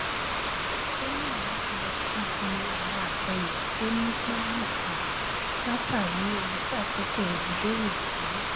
ó yàn láti lọ síbi àwọn àjọyọ tó ní ipa nìkan látàrí ohun tí àkókò rẹ n bèrè fún